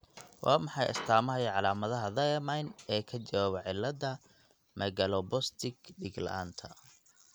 Waa maxay astamaha iyo calaamadaha thiamine ee ka jawaaba cilada megaloblastic diig laanta.